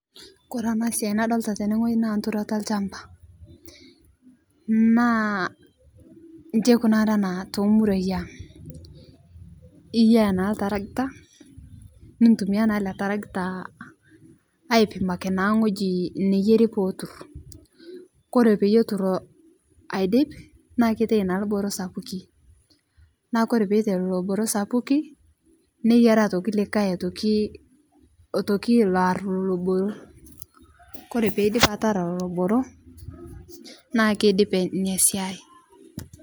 Kore ana siai nadolita tene ng'hoji naa nturotoo elshampaa naa nchi eikunarii ana te muruai aang' iyaa naa ltaragitaa nintumia naa alee taragitaa aipimakii naa ng'hojii neyerii peetur kore peyie etur aidip naa keitai naa lboroo sapukii naa kore peitai leloo boroo sapukii neyari otoki likai otoki lowar leloo boroo kore peidip ataraa leloo boroo naa keidipee inia siai.